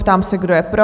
Ptám se, kdo je pro?